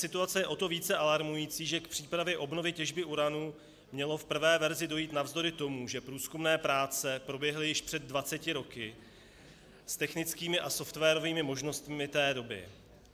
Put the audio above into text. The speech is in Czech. Situace je o to více alarmující, že k přípravě obnovy těžby uranu mělo v prvé verzi dojít navzdory tomu, že průzkumné práce proběhly již před 20 roky s technickými a softwarovými možnostmi té doby.